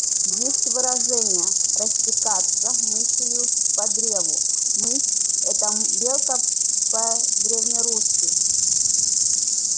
есть выражение растекаться мысью по древу мысь это белка по-древнерусски